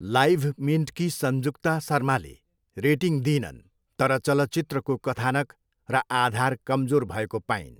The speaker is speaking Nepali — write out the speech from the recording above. लाइभमिन्टकी सन्जुक्ता शर्माले रेटिङ दिइनन् तर चलचित्रको कथानक र आधार कमजोर भएको पाइन्।